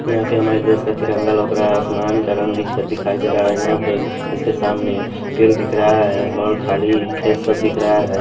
यहां पे हमारे देश का तिरंगा लौक रहा है आसमान का रंग विच्छेद दिखाई दे रहा है यहां पे इसके सामने पेड़ दिख रहा है और खाली खेत सब दिख रहा है।